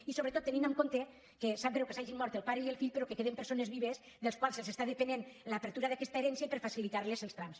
i sobretot tenint en compte que sap greu que s’hagin mort el pare i el fill però que queden persones vives que depenen de l’obertura d’aquesta herència i per facilitar los els trams